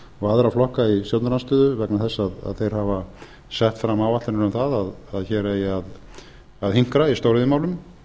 og aðra flokka í stjórnarandstöðu vegna þess að þeir hafa sett fram áætlanir um það að hér eigi að hinkra í stóriðjumálum